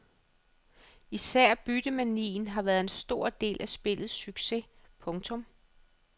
Især byttemanien har været en stor del af spillets succes. punktum